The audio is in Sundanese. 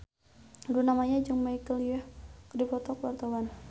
Luna Maya jeung Michelle Yeoh keur dipoto ku wartawan